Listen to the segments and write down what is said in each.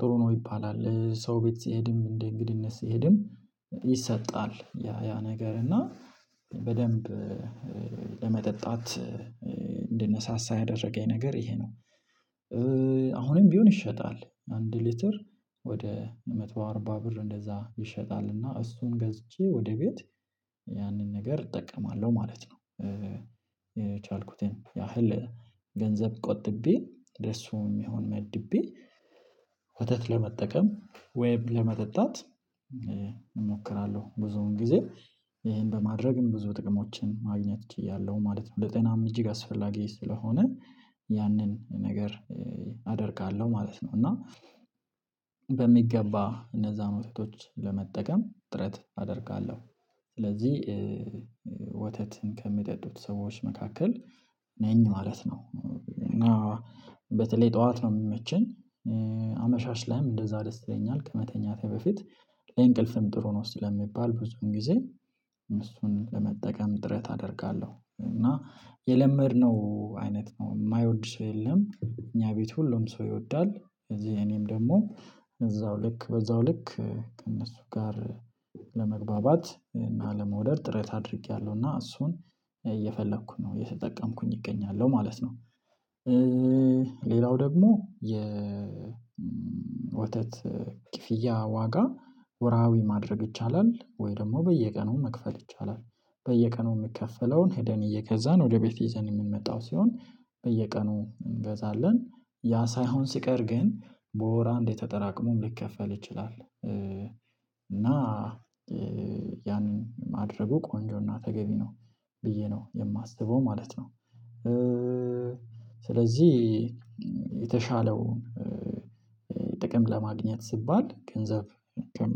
ጥሩ ነው ይባላል ሰው ቤት ስሄድም እንደ እንግድነት ስሄድም ይሰጣል ያ ያ ነገር እና በደንብ ለመጠጣት እንደነሳሳ ያደረገኝ ነገር ይሄ ነው። አሁንም ቢሆን ይሸጣል አንድ ሊትር ወደ መቶ አርባ ብር እንደዛ ይሸጣል እና እሱን ገዝቼ ወደ ቤት ያንን ነገር እጠቀማለሁ ማለት ነው። የቻልኩትን ያህል ገንዘብ ቆጥቤ ለርሱም የሚሆን መድቤ ወተት ለመጠቀም ወይም ለመጠጣት እሞክራለሁ ብዙውን ጊዜ ይሄን በማድረግም ብዙ ጥቅሞችን ማግኘት ችያለሁ ማለት ነው። ለጤናም እጅግ አስፈላጊ ስለሆነ ያንን ነገር አደርጋለሁ ማለት ነው። እና በሚገባ እነዛን ወተቶች ለመጠቀም ጥረት አደርጋለሁ ስለዚህ ወተትን ከሚጠጡት ሰዎች መካከል ነኝ ማለት ነው። እና በተለይ ጠዋት ነው የምመቸን አመሻሽ ላይም እንደዛ ደስ ይለኛል ከመተኛቴ በፊት ለእንቅልፍም ጥሩ ነው ስለሚባል ብዙን ጊዜ እሱን ለመጠቀም ጥረት አደርጋለሁ እና የለመድነው አይነት ነው የማይወድ ሰው የለም። እኛ ቤት ሁሉም ሰው ይወዳል ስለዚህ እኔም ደግሞ እዛው ልክ በዛው ልክ ከእነሱ ጋር ለመግባባት እና ለመውደድ ጥረት አድርጌያለሁ እና እሱን እየፈለኩኝ ነው የተጠቀምኩኝ እገኛለሁ ማለት ነው። ሌላው ደግሞ የ ወተት ክፍያ ዋጋ ወርሃዊ ማድረግ ይቻላል? ወይ ደግሞ በየቀኑ መክፈል ይቻላል በየቀኑ የሚከፈለውን ሄደን እየገዛን ወደ ቤት ይዘን የምንመጣው ሲሆን በየቀኑ እንገዛለን ያ ሳይሆን ሲቀር ግን በወር አንድየ ተጠራቅሞ ሊከፈል ይችላል። እና ያንን ማድረጉ ቆንጆና ተገቢ ነው ብዬ ነው የማስበው ማለት ነው። ስለዚህ የተሻለውን ጥቅም ለማግኘት ሲባል ገንዘብ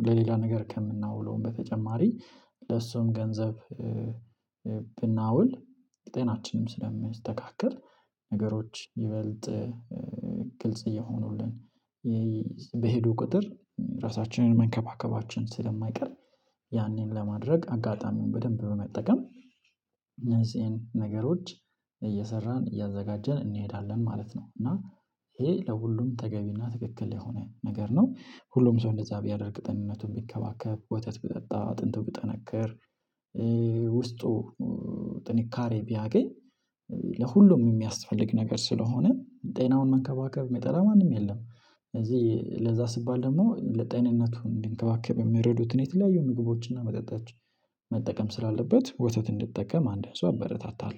ለሌላ ነገር ከምናውለውም በተጨማሪ ለሱም ገንዘብ ብናውል ጤናችንም ስለምስተካከል ነገሮች ይበልጥ ግልጽ እየሆኑልን በሄዱ ቁጥር ራሳችንን መንከባከባችን ስለማይቀር ያንን ለማድረግ አጋጣሚውን በደንብ በመጠቀም እነዚህን ነገሮች እየሰራን እያዘጋጀን እንሄዳለን ማለት ነው። እና ይሄ ለሁሉም ተገቢና ትክክል የሆነ ነገር ነው ሁሉም ሰው እንደዛ ቢያደርግ ጤንነቱን ቢከባከብ ወተት ቢጠጣ አጥንቱ ቢጠነከር ውስጡ ጥንካሬ ቢያገኝ ለሁሉም የሚያስፈልግ ነገር ስለሆነ ጤናውን መንከባከብ የሚጠላ ማንም የለም። ስለዚህ ለዛ ስባል ደግሞ ለጤንነቱ እንዲንከባከብ የሚረዱትን የተለያዩ ምግቦችን እና መጠጦችን መጠቀም ስላለበት ወተት እንዲጠቀም አንድን ሰው አበረታታለሁ